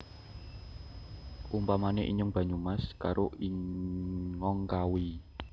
Umpamane inyong Banyumas karo ingong Kawi